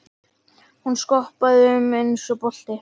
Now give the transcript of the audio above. Hún skoppaði um eins og bolti.